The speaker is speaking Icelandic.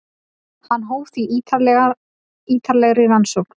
Hann hóf því ítarlegri rannsókn.